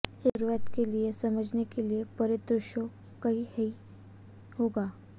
एक शुरुआत के लिए समझने के लिए परिदृश्यों कई हैं कि होगा